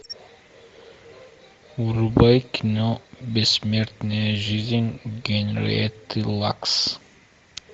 врубай кино бессмертная жизнь генриетты лакс